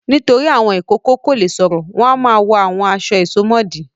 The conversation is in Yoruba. Nítorí àwọn ìkókó kò le sọ̀rọ̀ wọ́n máa ń wọ àwọn aṣọ ìsomọ́ọ̀dí.